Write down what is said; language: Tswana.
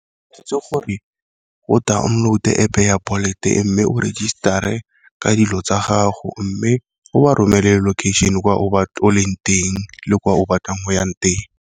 Ke itse gore o download-te App ya Bolt-e mme o register-e ka dilo tsa gago, mme go ba romele location kwa o leng teng le kwa o batlang o yang teng.